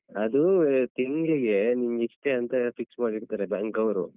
ಅದೂ ತಿಂಗ್ಳಿಗೆ ನಿಮ್ಗೆ ಇಷ್ಟೆ ಅಂತ fix ಮಾಡಿ ಇಡ್ತಾರೆ bank ಅವ್ರು.